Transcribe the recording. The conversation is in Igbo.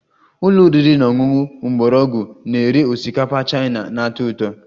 Ụlọ oriri na ọṅụṅụ mgbọrọgwụ na-ere osikapa Chaina na-atọ ụtọ